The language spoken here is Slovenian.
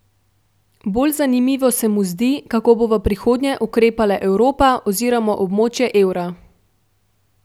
Bolj zanimivo se mu zdi, kako bo v prihodnje ukrepala Evropa oziroma območje evra.